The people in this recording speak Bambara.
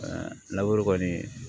kɔni